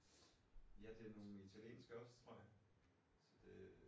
Ja det er nogen italienske også tror jeg det